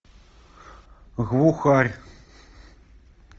глухарь